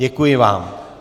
Děkuji vám.